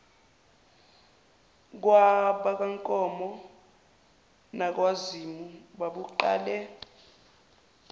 kwabakankomo nakwazimu babuqale